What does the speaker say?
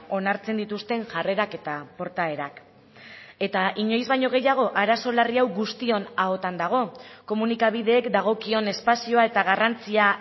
onartzen dituzten jarrerak eta portaerak eta inoiz baino gehiago arazo larri hau guztion ahotan dago komunikabideek dagokion espazioa eta garrantzia